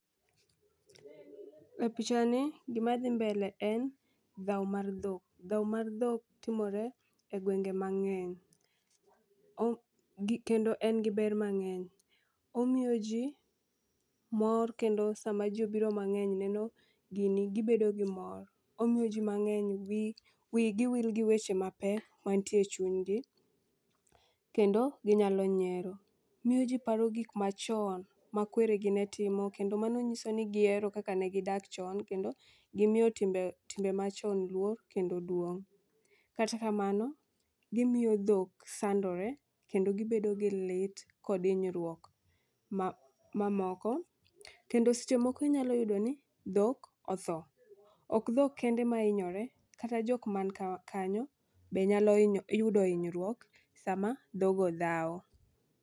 E picha ni gima dhi mbele en dhawo mar dhok. Dhawo amr dhok timore e gwenge mang'eny o gi kendo en gi ber mang'eny. Omiyo jii mor kendo sama jii obiro mang'eny neno gini gibedo gi mor. Omiyo jii mang'eny dhi wigi wil gi weche mapek mantie chunygi kendo ginyalo nyiero. Miyo jii paro gik machon ma kweregi ne timo kendo mano nyisa ni gihero kaka ne gidak chon kendo gimiyo timbe timbe machon luor kendo duong'. Kata kamano, gimiyo dhok sandore kendo gibedo gi lit kod hinyruok ma mamoko. Kendo seche moko inyalo yudo ni dhok otho, ok dhok kende ma hinyore, kata jok man ka kanyo be nyalo hiny yudo hinyruok sama dhogo dhawo.